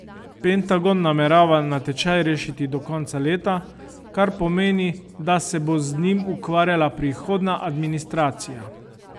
Pentagon namerava natečaj rešiti do konca leta, kar pomeni, da se bo z njim ukvarjala prihodnja administracija.